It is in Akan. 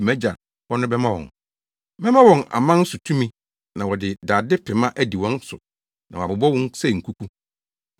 mʼAgya hɔ no bɛma wɔn. Mɛma wɔn aman so tumi na wɔde dade pema adi wɔn so na wɔabobɔ wɔn sɛ nkuku.